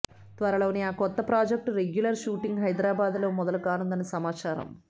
త్వరలోనే ఆ కొత్త ప్రాజెక్ట్ రెగ్యులర్ షూటింగ్ హైదరాబాద్ లో మొదలుకానుందని సమాచారం